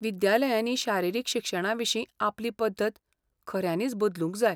विद्यालयांनी शारिरीक शिक्षणाविशीं आपली पद्दत खऱ्यांनीच बदलूंक जाय.